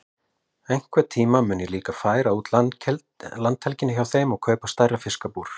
Einhvern tíma mun ég líka færa út landhelgina hjá þeim og kaupa stærra fiskabúr.